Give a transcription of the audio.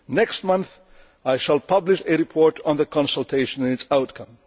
Next month I shall publish a report on the consultation and its outcome.